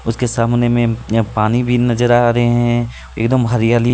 उसके सामने में पानी भी नजर आ रहे हैं एकदम हरियाली--